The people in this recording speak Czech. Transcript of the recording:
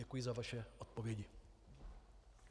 Děkuji za vaše odpovědi.